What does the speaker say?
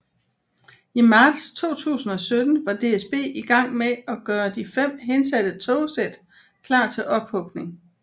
I marts 2017 var DSB i gang med at gøre de fem hensatte togsæt klar til ophugning